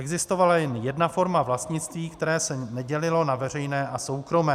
Existovala jen jedna forma vlastnictví, které se nedělilo na veřejné a soukromé.